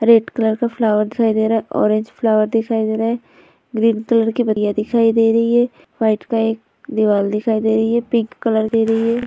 red colour का flower दिखाई दे रहा है ऑरेंज कलर का फ्लॉवर दिखाई दे रहा है ग्रीन कलर कोई पत्तियाँ दिखाई दे रही हैं वाइट का एक दीवाल दिखाई दे रही है पिंक की एक --